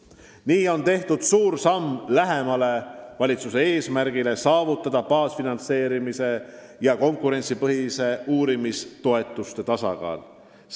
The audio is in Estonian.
Nii on astutud pikk samm lähemale valitsuse eesmärgile saavutada baasfinantseerimise ja konkurentsipõhiste uurimistoetuste tasakaal.